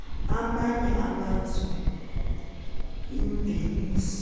amanye amazwe imveliso